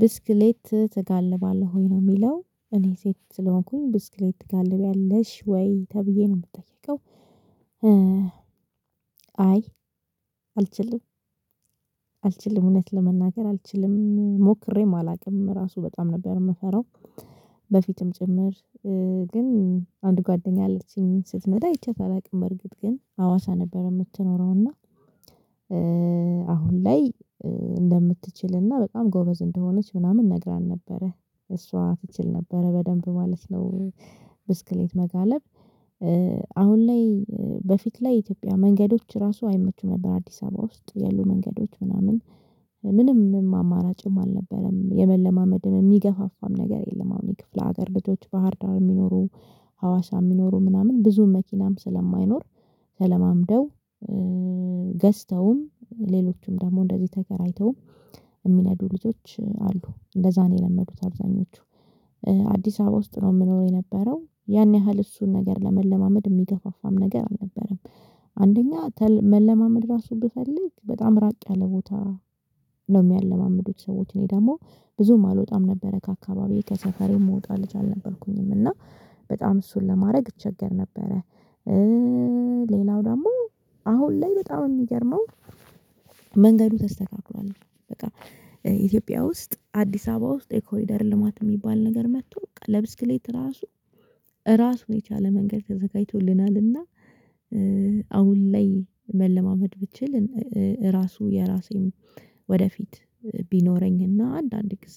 ብስክሌት ትጋልባለህ ወይ ነው የሚለው እኔ ሴት ስለሆንኩኝ ብስክሌት ትጋልቢያለሽ ወይ ተብዬ ነው የምጠየቀው? አይ አልችልም። አልችልም እውነት ለመናገር አልችልም ሞክሬም አላውቅም ራሱ በጣም ነበር የምፈራው። በፊትም ጭምር። ግን አንድ ጓደኛ አለችኝ ስትነዳ አይቼ አላቅም በርግጥ ግን አዋሳ ነበር የምትኖረውና እና አሁን ላይ እንደምትችል እና በጣም ጎበዝ እንደሆነች ምናምን ነግራኝ ነበረ እሷ ትችል ነበረ በደንብ ማለት ነው። ብስክሌት መጋለብ አሁን ላይ በፊት ላይ ኢትዮጵያ መንገዶች ራሱ አይመቹም ነበር አዲስ አበባ ውስጥ ያሉ መንገዶች ምናምን ምንም አማራጭም አልነበረም የመለማመድም የሚገፋፋም ነገር የለም። አሁን የክፍለ ሀገር ልጆች ባህር ዳው የሚኖሩ ሀዋሳ የሚኖሩ ምናምን ብዙ መኪናም ስለማይኖር። ተለማምደው ገዝተውም ሌሎችም ደግሞ እንደዚህ ተከራይተው የሚነዱ ልጆች አሉ እንደዛ ነው የለመዱት። አብዛኞቹ አዲስ አበባ ውስጥ ነው የምኖረው የነበረው ያን ያህል እሱን ነገር ለመለማመድ የሚገፋፋም ነገር አልነበረም። አንደኛ መለማመድ ራሱን ብፈልግ በጣም ራቅ ያለ ቦታ ነው የሚያለማምዱት ሰዎች እኔ ደግሞ ብዙም አልወጣም ነበረ ከአካባቢው ከሰፈሬው መውጣት ልጅ አልነበርኩኝም እና በጣም እሱን ለማድረግ እቸገር ነበረ። ሌላው ደግሞ አሁን ላይ በጣም የሚገርመው መንገዱ ተስተካክሏል። በቃ ኢትዮጵያ ውስጥ አዲስ አበባ ውስጥ ኮሊደር ልማት የሚባል ነገር መጥቶ ለብስክሌት ራሱ ራሱ የቻለ መንገድ ተዘጋጅቶልናልና። አሁን ላይ መለማመድ ብችል ራሱ የራሴም ወደፊት ቢኖረኝና አንዳንድ ጊዜ